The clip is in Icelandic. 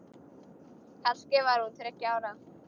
Kannski var hún þriggja ára.